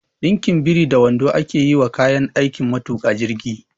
Ɗinkin biri da wando ake yi wa kayan aikin matuƙa jirgi